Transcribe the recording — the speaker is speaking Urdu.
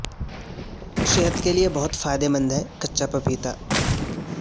صحت کے لئے بہت فائدہ مند ہے کچا پپیتا